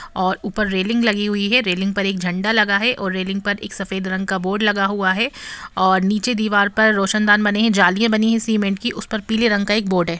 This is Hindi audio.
और ऊपर रैलिंग लगी हुई है रैलिंग पर एक झण्डा लगा है ऊपर सफेद कलर का बोर्ड लगा हुआ है और नीचे रोशन-दार बने है नीचे दीवार पर सिमेन्ट की उसपे पीले रंग की एक बोर्ड है।